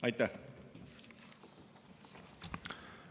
Aitäh!